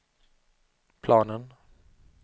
planen